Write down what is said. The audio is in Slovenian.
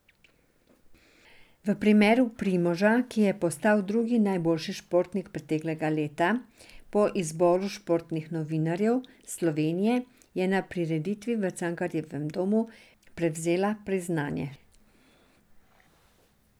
V imenu Primoža, ki je postal drugi najboljši športnik preteklega leta po izboru športnih novinarjev Slovenije, je na prireditvi v Cankarjevem domu prevzela priznanje.